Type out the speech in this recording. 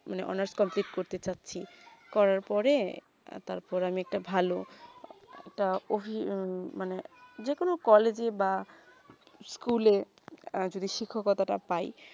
মানে honours complete করতে চাচ্চি করার পরে তার পরে আমি একটা ভালো একটা অভি মানে যে কোনো college বা school এ যদি শিক্ষকর্তা তা প্রায়ই